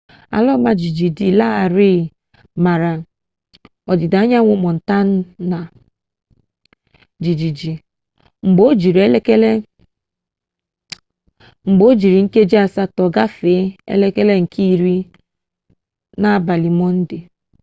ala ọma jijiji dị larịị mara ọdịda anyanwụ montana jijiji mgba ojiri nkeji asatọ gafee elekere nke iri n'abalị monde